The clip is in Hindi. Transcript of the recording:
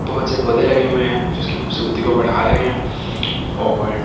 बहुत से पौधे लगे हुए हैं जो इसकी खूबसूरती को बढ़ा रहे हैं और देवा--